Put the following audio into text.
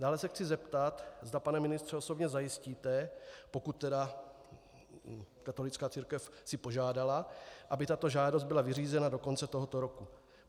Dále se chci zeptat, zda, pane ministře, osobně zajistíte, pokud tedy katolická církev si požádala, aby tato žádost byla vyřízena do konce tohoto roku.